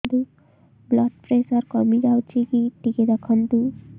blood pressure କମି ଯାଉଛି କି ଟିକେ ଦେଖନ୍ତୁ